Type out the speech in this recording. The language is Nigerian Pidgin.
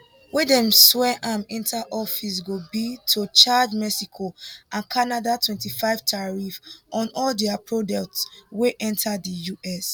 wen dem swear am enta office go be to charge mexico and canada 25 tariff on all dia products wey enta di us